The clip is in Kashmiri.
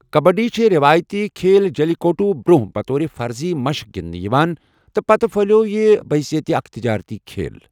کبڈی چھٗ رٮ۪وٲیتی کھیل جلی کٹو برٛۄنٛہہ بطور فرضی مشق گِنٛدنہٕ یوان، تہٕ پتہٕ پھہلِیوو یہِ بہٕ حشیت اكھ تجارتی کھیل ۔